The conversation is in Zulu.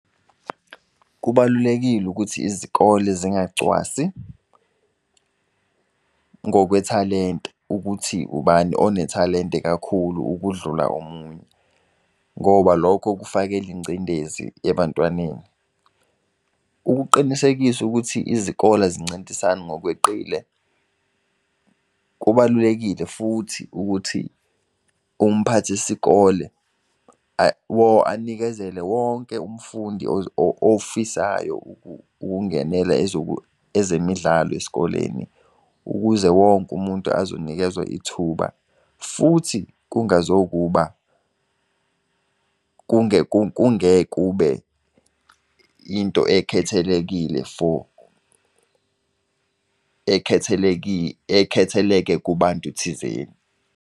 Kubalulekile ukuthi izikole zingacwasi ngokwethalente, ukuthi ubani onethalente kakhulu ukudlula omunye, ngoba lokho kufakela ingcindezi ebantwaneni. Ukuqinisekisa ukuthi izikole azincintisani ngokweqile, kubalulekile futhi ukuthi umphathi sikole anikezele wonke umfundi ofisayo ukungenela ezemidlalo esikoleni, ukuze wonke umuntu azonikezwa ithuba, futhi kungazokuba kungeke kube into ekhetelekile for ekhetheleke kubantu thizeni.